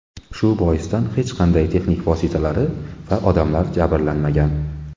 Shu boisdan hech qanday texnik vositalari va odamlar jabrlanmagan.